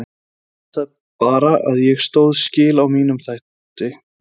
Ég veit það bara að ég stóð skil á mínum þætti.